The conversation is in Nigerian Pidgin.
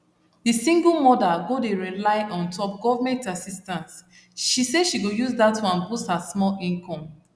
the single mother go dey rely untop government assistance say she go use that one boost her small income